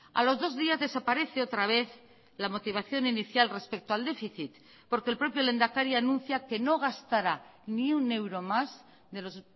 a los dos días desaparece otra vez la motivación inicial respecto al déficit porque el propio lehendakari anuncia que no gastara ni un euro más de los